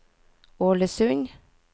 Ålesund